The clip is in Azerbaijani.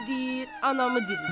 Biri deyir anamı dirilt.